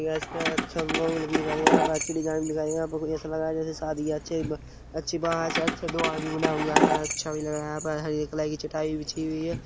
यहाँ पे अच्छी डिजाइन भी दिखाई यहाँ पे कोई ऐसा लग रहा जेसे शादी है अच्छे ब -- अच्छी अच्छा दो आदमी बना हुआ है अच्छा भी लग रहा यहाँ पर हरी कलर की चटाई भी बिछी हुई हैं।